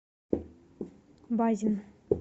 базин